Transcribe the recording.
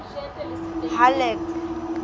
halleck